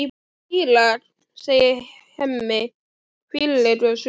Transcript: Írak, segir Hemmi, fýlulegur á svip.